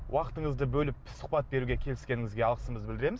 уақытыңызды бөліп сұхбат беруге келіскеніңізге алғысымызды білдіреміз